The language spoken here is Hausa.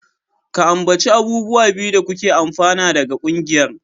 Ka ambaci abubuwa biyu da kuke amfana daga ƙungiyar.